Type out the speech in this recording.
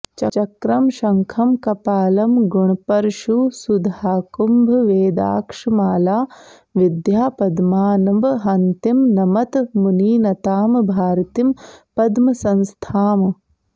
चक्रं शङ्खं कपालं गुणपरशुसुधाकुम्भवेदाक्षमाला विद्यापद्मान्वहन्तीं नमत मुनिनतां भारतीं पद्मसंस्थाम्